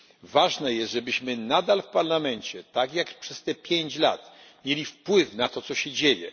Ważne jest, żebyśmy nadal w Parlamencie tak jak przez te pięć lat mieli wpływ na to, co się dzieje.